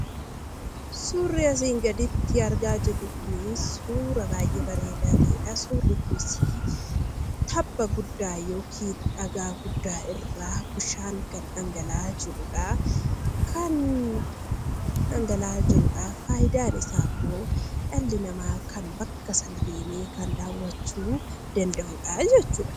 Suurri asiin gaditti argaa jirru kunii, suuraa baayyee bareeda ta'edha. Suurri kunis tabba guddaa yookiin dhagaa guddaa irraa bishaan gad dhangala'aa jirudha. Kan dhangala'aa jirudha. Fayidaan isaa immoo dhalli namaa bakka sana deemee kan daawwachuu danda'udhaa jechuudha.